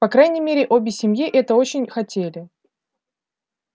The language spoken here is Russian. по крайней мере обе семьи это очень хотели